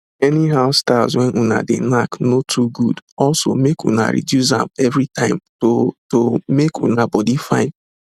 any how styles when una de knack no too good oso make una reduce am everytime to to make una body fine